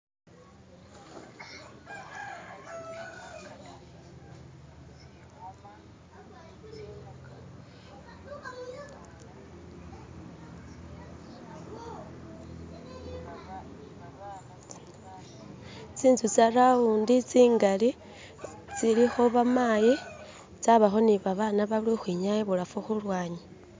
tsinzu tsarawundi tsingali tsilikho bamayi tsabakho ni babana bali ukhwinyaaya ibulafu khulwanyi